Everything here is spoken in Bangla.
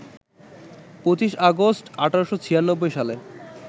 ২৫ আগস্ট, ১৮৯৬ সালে